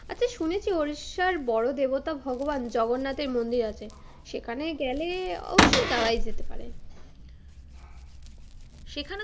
আচ্ছা শুনেছি উড়িষ্যার বড় দেবতা ভগবান জগন্নাথের মন্দির আছে, সেখানে গেলে অবশ্য যাওয়াই যেতে পারে। সেখানেও,